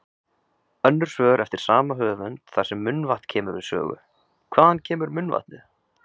Önnur svör eftir sama höfund þar sem munnvatn kemur við sögu: Hvaðan kemur munnvatnið?